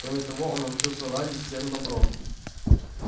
кроме того он научился ладить с серым бобром